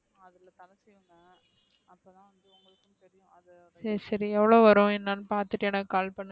சரி சரி எவளோ வரும் என்னனு பாத்துட்டு எனக்கு call பண்ணுக,